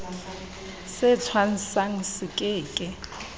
se thwasang se ke ke